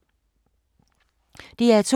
DR2